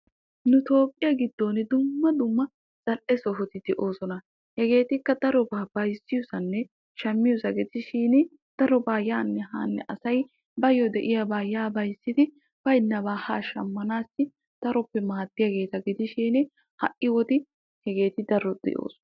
Nu toophphiyaa giddon dumma dumma zal"e sohoti de'oosona. hegeetikka darobaa bayzziyoosanne shammiyoosa gidishin darobaa yaanne yaanne asay bayoo de'iyaabaa yaa bayzzidi baynnabaa haa shammanassi daroppe maaddiyaageta gidishin ha'i wode hegeeti darobaa maaddoosona.